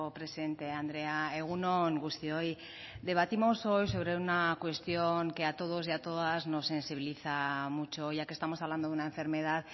presidente andrea egun on guztioi debatimos hoy sobre una cuestión que a todos y a todas nos sensibiliza mucho ya que estamos hablando de una enfermedad